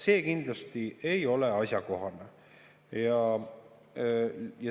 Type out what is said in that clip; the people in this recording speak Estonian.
See kindlasti ei ole asjakohane.